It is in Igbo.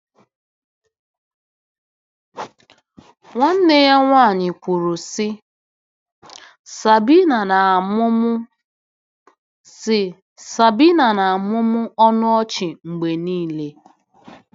Nwanne ya nwanyị kwuru, sị: “Sabina na-amụmụ sị: “Sabina na-amụmụ ọnụ ọchị mgbe niile.”